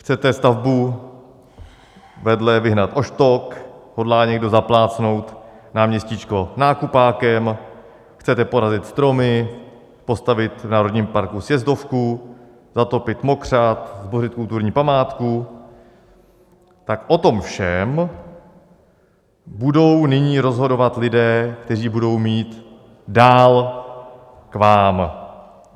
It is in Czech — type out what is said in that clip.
Chcete stavbu vedle vyhnat o štok, hodlá někdo zaplácnout náměstíčko nákupákem, chcete porazit stromy, postavit v národním parku sjezdovku, zatopit mokřad, zbořit kulturní památku - tak o tom všem budou nyní rozhodovat lidé, kteří budou mít dál k vám.